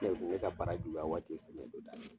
u kun be ka bara juguya waati o ye samiya don da ye.